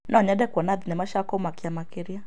No nyende kuona thenema cia kũmakia makĩria.